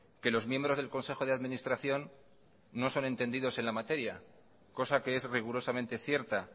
que los miembros del consejo de administración no son entendidos en la materia cosa que es rigurosamente cierta